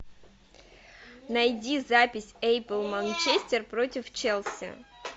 найди запись апл манчестер против челси